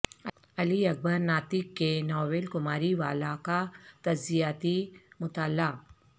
علی اکبر ناطق کے ناول کماری والا کا تجزیاتی مطالعہ